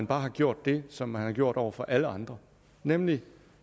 bare har gjort det som de har gjort over for alle andre nemlig